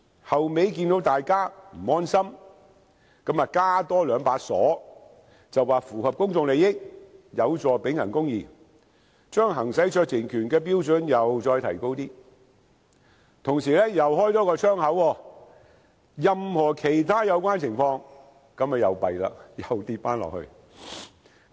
後來看見大家不安心，再加兩把鎖，便是："符合公眾利益，有助秉行公義"，把行使酌情權的標準再提高，但同時多開一個窗口："一切有關情況下"，這樣糟糕了，又再放寬了。